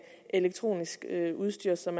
elektronisk udstyr som